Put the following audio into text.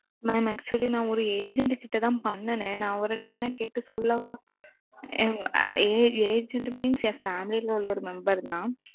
mam actually நான் ஒரு agent கிட்ட தான் பண்ணுனேன் நான் அவர் கிட்ட வேணா கேட்டு சொல்லவா? ~ agent means என் family ல உள்ள ஒரு member தான்.